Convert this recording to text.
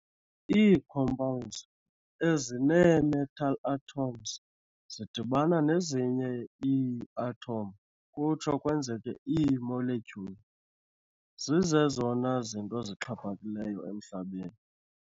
Ii-Compounds, ezinee-metal atoms zidibana nezinye ii-atoms kutsho kwenzeke ii-molecules, zizezona zinto zixhaphakileyo emHlabeni.